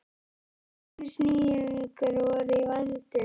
Hvers kyns nýjungar voru í vændum.